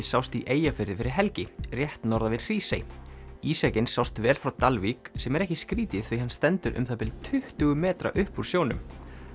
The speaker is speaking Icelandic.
sást í Eyjafirði fyrir helgi rétt norðan við Hrísey sást vel frá Dalvík sem er ekki skrítið því hann stendur um það bil tuttugu metra upp úr sjónum